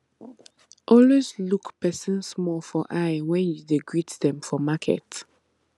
always look persin small for eye when you dey greet dem for market